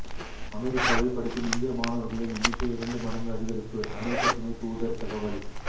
அமெரிக்காவில் படிக்கும் இந்திய மாணவர்களின் எண்ணிக்கை இரண்டு மடங்கு அதிகரிப்பு அமெரிக்க துணை தூதர் தகவல்